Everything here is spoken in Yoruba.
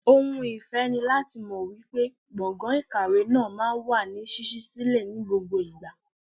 Ohun ìfẹ́ ni láti mọ wípé gbọ̀ngàn ìkàwé náà máa ń wà ní ṣíṣí sílẹ̀ ní gbogbo ìgbà.